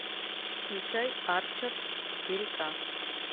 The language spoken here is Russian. включай арчер четыре ка